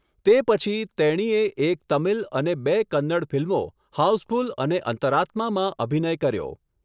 તે પછી, તેણીએ એક તમિલ અને બે કન્નડ ફિલ્મો, 'હાઉસફુલ' અને 'અંતરાત્મા' માં અભિનય કર્યો.